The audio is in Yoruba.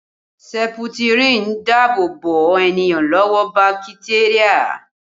Seputirin ń dáàbò bo ènìyàn lọ́wọ́ bakiteria